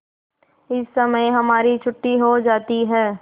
इस समय हमारी छुट्टी हो जाती है